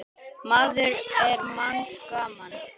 maður er manns gaman.